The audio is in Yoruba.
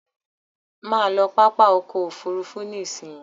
Má lọ pápá ọkọ̀ òfurufú nísìí!